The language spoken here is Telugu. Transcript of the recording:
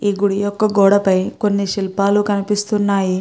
ఈ గుడి యొక్క గోడ పై కొన్ని శిల్పాలు కనిపిస్తున్నాయి.